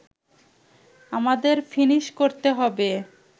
আমাদের ফিনিশ করতে হবে